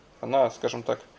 она скажем так